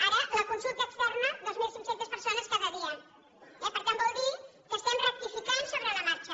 ara la consulta ex terna dos mil cinc cents persones cada dia eh per tant vol dir que estem rectificant sobre la marxa